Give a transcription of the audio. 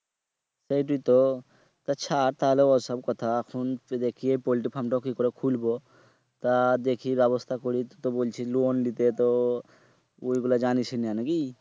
সেইটোই তো আচ্ছা তাহলে ওই সব কথা এখন রেখে পোল্টি farm তো কি করে খুলবো তা দেখি ব্যবস্থা করি টু তো বলছিলি loan নিতে তো ওই গীলা জানিস না নাকি